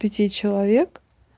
пяти человек